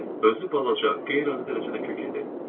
Özü balaca, qeyri-adi dərəcədə kök idi.